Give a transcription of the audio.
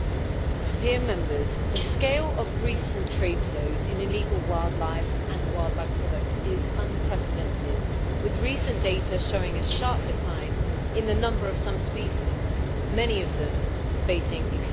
Mr President, the scale of recent trade flows in illegal wildlife and wildlife products is unprecedented, with recent data showing a sharp decline in the number of some species, many of them facing extinction.